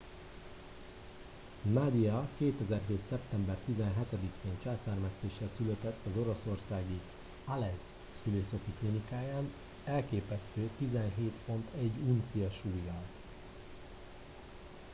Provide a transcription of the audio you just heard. nadia 2007. szeptember 17 én császármetszéssel született az oroszországi alejszk szülészeti klinikáján elképesztő 17 font 1 uncia súllyal